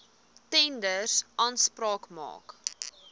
tenders aanspraak maak